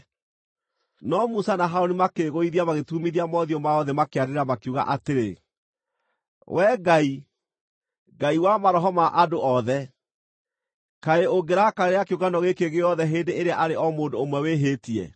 No Musa na Harũni makĩĩgũithia magĩturumithia mothiũ mao thĩ makĩanĩrĩra makiuga atĩrĩ, “Wee Ngai, Ngai wa Maroho ma andũ othe, kaĩ ũngĩrakarĩra kĩũngano gĩkĩ gĩothe hĩndĩ ĩrĩa arĩ o mũndũ ũmwe wĩhĩtie?”